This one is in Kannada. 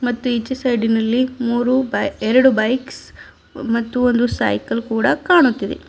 ಮತ್ತು ಈಚೆ ಸೈಡಿ ನಲ್ಲಿ ಮೂರು ಬೈ ಎರಡು ಬೈಕ್ಸ್ ಮತ್ತು ಒಂದು ಸೈಕಲ್ ಕೂಡ ಕಾಣುತ್ತಿದೆ.